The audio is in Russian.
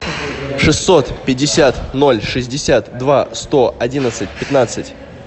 шестьсот пятьдесят ноль шестьдесят два сто одиннадцать пятнадцать